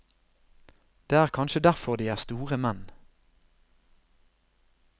Det er kanskje derfor de er store menn.